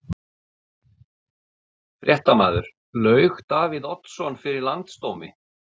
Fréttamaður: Laug Davíð Oddsson fyrir landsdómi?